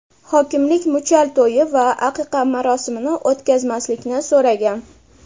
Hokimlik muchal to‘yi va aqiqa marosimini o‘tkazmaslikni so‘ragan.